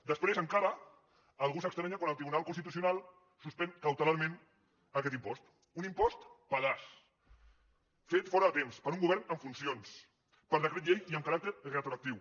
després encara algú s’estranya quan el tribunal constitucional suspèn cautelarment aquest impost un impost pedaç fet fora de temps per un govern en funcions per decret llei i amb caràcter retroactiu